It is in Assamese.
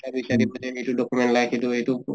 চা বিচাৰি এইটো document লাগে সেইটো এইটো